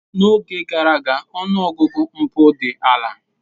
N'oge gara aga, ọnụ ọgụgụ mpụ dị ala.